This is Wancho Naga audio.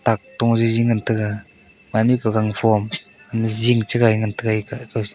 tak toh jiji ngan taga minyi pe gangphom mun cha ngai taiga eke--